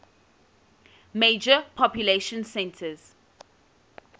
major population centers